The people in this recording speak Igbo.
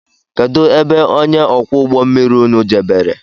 Kedụ ebe ọnye ókwú ụgbọ mmiri ụnụ jebere?